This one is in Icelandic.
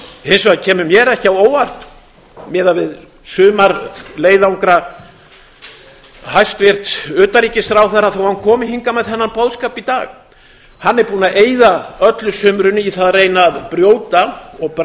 hins vegar kemur mér ekki á óvart miðað við sumarleiðangra hæstvirts utanríkisráðherra þó að hann komi hingað með þennan boðskap í dag hann er búinn að eyða öllu sumrinu í það að reyna að brjóta og